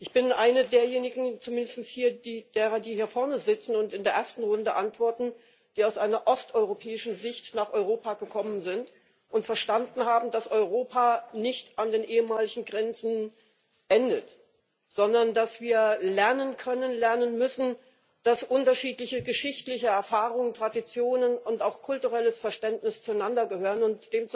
Ich bin eine derjenigen zumindest von denen, die hier vorne sitzen und in der ersten Runde antworten die aus einer osteuropäischen Sicht nach Europa gekommen sind und verstanden haben, dass Europa nicht an den ehemaligen Grenzen endet, sondern dass wir lernen können, lernen müssen, dass unterschiedliche geschichtliche Erfahrungen, Traditionen und auch kulturelles Verständnis zueinander gehören, und